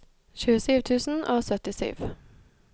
tjuesju tusen og syttisju